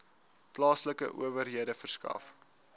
plaaslike owerhede verskaf